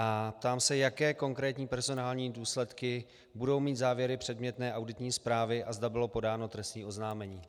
A ptám se, jaké konkrétní personální důsledky budou mít závěry předmětné auditní zprávy a zda bylo podáno trestní oznámení.